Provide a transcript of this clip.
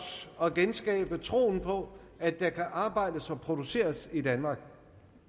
at genskabe troen på at der kan arbejdes og produceres i danmark